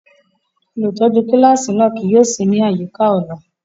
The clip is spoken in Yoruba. Olutọju kilasi náa kii yóò si ni ayika ọla.